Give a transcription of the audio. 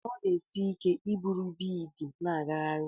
Ọ na-esi ike iburu biidi n'agagharị.